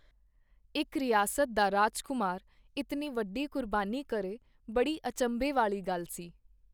ਇਕ ਰਿਆਸਤ ਦਾ ਰਾਜਕੁਮਾਰ ਇਤਨੀ ਵੱਡੀ ਕੁਰਬਾਨੀ ਕਰੇ, ਬੜੀ ਅਚੰਭੇ ਵਾਲੀ ਗੱਲ ਸੀ.